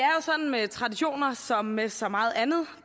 sådan med traditioner som med så meget andet